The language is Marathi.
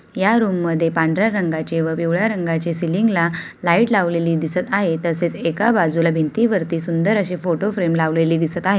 या रूममध्ये पांढर्‍या रंगाचे व पिवळ्या रंगाचे सीलिंगला लाइट लावलेली दिसत आहे तसेच एका बाजुला भिंतीवरती सुंदर अशी फोटो फ्रेम लावलेली दिसत आहे.